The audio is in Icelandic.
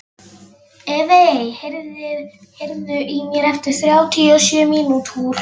Evey, heyrðu í mér eftir þrjátíu og sjö mínútur.